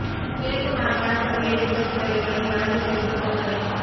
கிழக்கு மாகாண சபை எதிர்க்கட்சித் தலைவரின் வரவு செலவுதிட்ட உரை